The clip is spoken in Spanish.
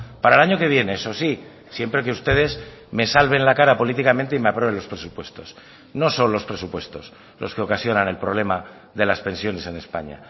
para el año que viene eso sí siempre que ustedes me salven la cara políticamente y me aprueben los presupuestos no son los presupuestos los que ocasionan el problema de las pensiones en españa